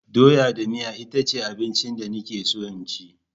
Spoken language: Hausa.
Doya da miya itace abincin da nake so in ci.